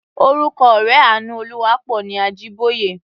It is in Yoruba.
Orúkọ ọ̀rẹ́ Àánúolúwaápọ̀ ni Ajíbóyè.